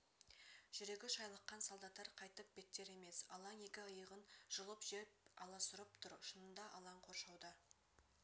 жүрегі шайлыққан солдаттар қайтып беттер емес алаң екі иығын жұлып жеп аласұрып тұр шынында алаң қоршауда